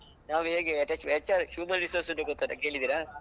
ನಾವ್ ಹೇಗೆ HR human resource ಗೊತ್ತಲ್ಲ ಕೇಳಿದೀರ?